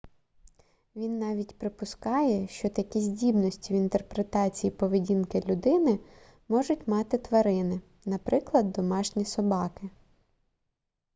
він навіть припускає що такі здібності в інтерпретації поведінки людини можуть мати тварини наприклад домашні собаки